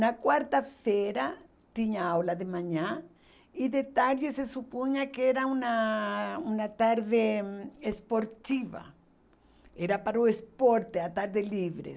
Na quarta-feira tinha aula de manhã, e de tarde se supunha que era uma uma tarde esportiva, era para o esporte, a tarde livre.